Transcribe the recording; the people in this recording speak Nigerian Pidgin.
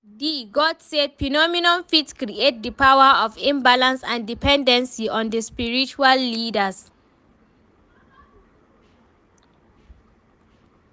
Di 'God said' phenomenon fit create di power of imbalance and dependency on di spiritual leaders.